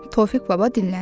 Tofiq baba dinləndi.